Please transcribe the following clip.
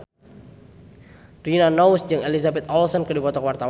Rina Nose jeung Elizabeth Olsen keur dipoto ku wartawan